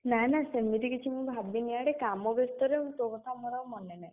ନା ନା ସେମିତି କିଛି ମୁଁ ଭାବିନି ଆରେ କାମ ବେସ୍ତରେ ତୋ କଥା ମୋର ଆଉ ମନେ ନାହିଁ।